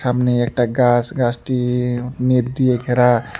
সামনে একটা গাছ গাছটি নেট দিয়ে ঘেরা।